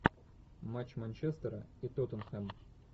матч манчестера и тоттенхэма